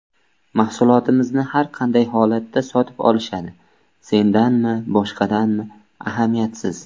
Mahsulotimizni har qanday holatda sotib olishadi, sendanmi, boshqadanmi, ahamiyatsiz”.